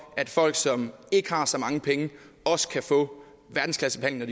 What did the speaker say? at folk som ikke har så mange penge også kan få verdensklassebehandling